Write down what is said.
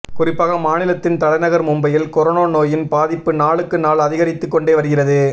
குறிப்பாக மாநிலத்தின் தலைநகர் மும்பையில் கொரோனா நோயின் பாதிப்பு நாளுக்கு நாள் அதிகரித்துக் கொண்டே வருகிறது